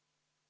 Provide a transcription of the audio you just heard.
Aitäh!